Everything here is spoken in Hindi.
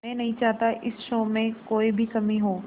मैं नहीं चाहता इस शो में कोई भी कमी हो